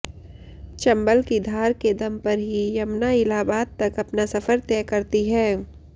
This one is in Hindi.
चंबल की धार के दम पर ही यमुना इलाहाबाद तक अपना सफर तय करती है